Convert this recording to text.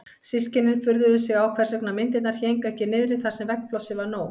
Systkinin furðuðu sig á hvers vegna myndirnar héngu ekki niðri þar sem veggplássið var nóg.